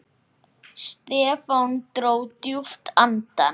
Stefán dró djúpt andann.